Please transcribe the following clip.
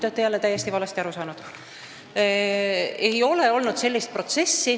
Te olete jälle täiesti valesti aru saanud: seda ei ole olnud.